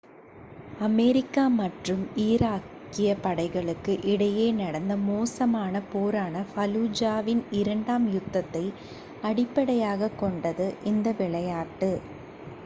America மற்றும் ஈராக்கிய படைகளுக்கு இடையே நடந்த மோசமான போரான ஃபலூஜாவின் இரண்டாம் யுத்தத்தை அடிப்படையாக கொண்டது இந்த விளையாட்டு